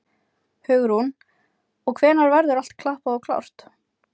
Hugrún: Og hvenær verður allt klappað og klárt?